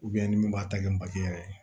ni min b'a ta kɛ bagaji yɛrɛ ye